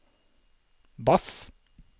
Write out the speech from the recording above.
bass